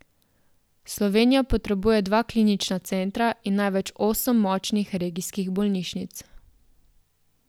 Slovenija potrebuje dva klinična centra in največ osem močnih regijskih bolnišnic.